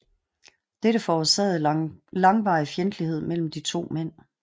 Dette forårsagede langvarig fjendtlighed mellem de to mænd